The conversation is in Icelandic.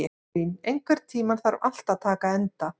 Guðlín, einhvern tímann þarf allt að taka enda.